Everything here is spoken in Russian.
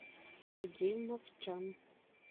сергей мовчан